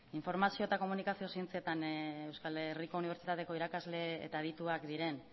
informazio eta komunikazio zientzetan euskal herriko unibertsitateko irakasle eta adituak diren